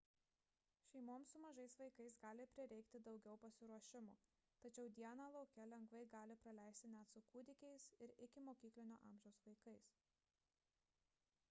šeimoms su mažais vaikais gali prireikti daugiau pasiruošimo tačiau dieną lauke lengvai galima praleisti net su kūdikiais ir ikimokyklinio amžiaus vaikais